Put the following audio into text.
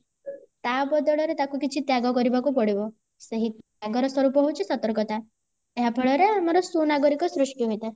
ତା ବଦଳରେ ତାକୁ କିଛି ତ୍ୟାଗ କରିବାକୁ ପଡିବ ସେହି ତ୍ୟାଗର ସ୍ୱରୂପ ହେଉଛି ସତର୍କତା ଏହାଫଳରେ ଆମର ସୁନାଗରିକ ସୃଷ୍ଟି ହୋଇଥାଏ